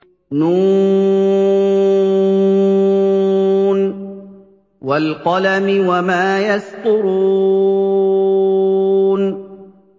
ن ۚ وَالْقَلَمِ وَمَا يَسْطُرُونَ